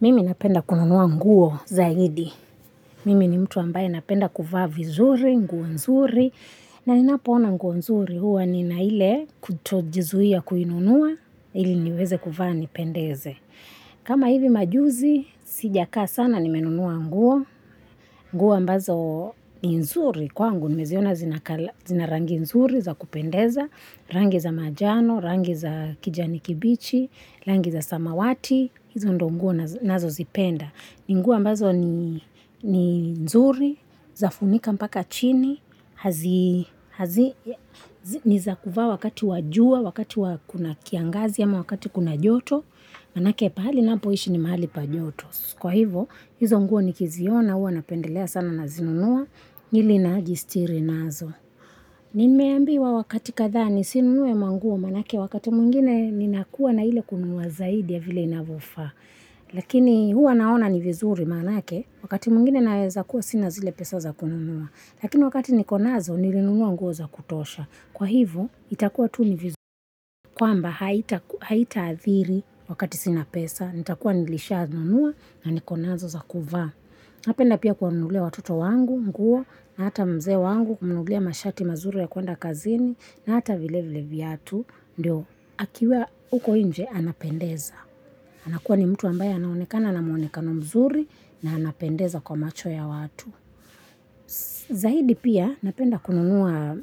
Mimi napenda kununua nguo zaidi. Mimi ni mtu ambaye napenda kuvaa vizuri, nguo nzuri. Na ninapoona nguo nzuri huwa ni na ile kutojizuia kuinunua ili niweze kuvaa nipendeze. Kama hivi majuzi, sijakaa sana nimenunua nguo. Nguo ambazo ni nzuri kwangu nimeziona zinarangi nzuri za kupendeza. Rangi za majano, rangi za kijani kibichi, rangi za samawati, hizo ndo nguo nazo zipenda. Ni nguo ambazo ni nzuri, zafunika mpaka chini, niza kuvaa wakati wajua, wakati kuna kiangazi ama wakati kuna joto, maanake pahali ninapoishi ni mahali pa njoto. Kwa hivo, hizo nguo nikiziona, huwa napendelea sana na zinunua ili najistiri nazo. Nimeambiwa wakati kadhaa nisinunue manguo maanake wakati mwingine ninakuwa na ile kununua zaidi ya vile inavyofaa. Lakini huwa naona ni vizuri maanake wakati mwingine naweza kuwa sina zile pesa za kununua. Lakini wakati niko nazo nilinunua nguo za kutosha. Kwa hivo itakuwa tu ni vizuri. Kwamba haitaadhiri wakati sina pesa nitakuwa nilishanunua na niko nazo za kuvaa. Napenda pia kuwa nunulia watoto wangu, nguo, na hata mzee wangu, kumnunulia mashati mazuri ya kuenda kazini, na hata vile vile viatu, ndio, akiwa huko nje, anapendeza. Anakuwa ni mtu ambaya anaonekana na muonekano mzuri, na anapendeza kwa macho ya watu. Zaidi pia, napenda kununua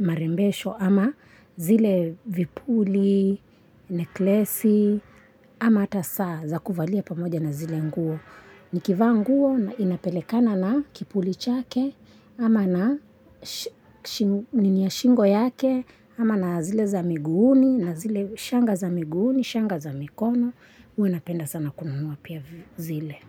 marembesho ama zile vipuli, neklesi, ama hata saa za kuvalia pamoja na zile nguo. Nikivaa nguo inapelekana na kipuli chake ama na nini ya shingo yake ama na zile za miguuni na zile shanga za miguuni, shanga za mikono huwa napenda sana kununua pia zile.